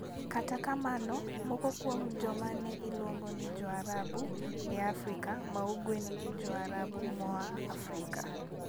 Kata kamano, moko kuom joma ne iluongo ni "Jo-Arabu" e Afrika ma Ugwe ne gin Jo-Arabu moa Afrika.